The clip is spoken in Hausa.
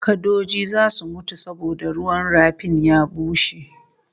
Kadoji zasu mutu saboda ruwan rafin ya bushe